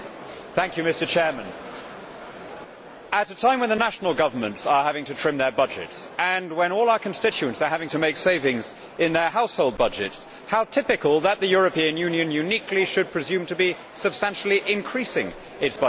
Mr President, at a time when the national governments are having to trim their budgets and when all our constituents are having to make savings in their household budgets, how typical that the European Union, uniquely, should presume to be substantially increasing its budget.